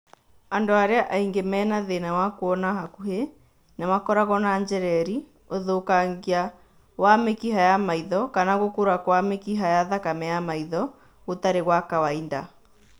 Andũ arĩa aingĩ mena thĩna wa kuona hakuhĩ, nĩmakoragwo na njereri, ũthũkangia wa mĩkiha ya maitho kana gũkũra kwa mĩkiha ya thakame ya maitho gũtarĩ gwa kawaida